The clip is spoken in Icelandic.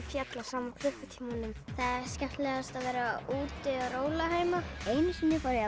fjall á sama klukkutímanum það er skemmtilegast að vera úti og róla heima einu sinni var ég að